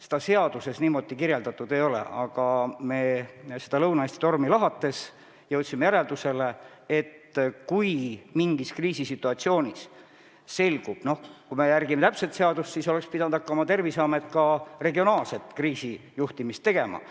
Seaduses see niimoodi sätestatud ei ole, aga Lõuna-Eesti tormi analüüsides me jõudsime järeldusele, et täpselt seadust järgides oleks pidanud Terviseamet hakkama ka regionaalse kriisi lahendamist juhtima.